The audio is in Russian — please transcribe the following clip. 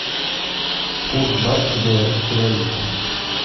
курс бата к белорусской валюте